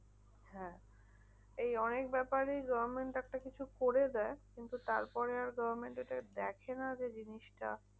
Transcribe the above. হ্যাঁ এই অনেক ব্যাপারে government একটা কিছু করে দেয়। কিন্তু তারপরে আর government এটা দেখে না যে জিনিসটা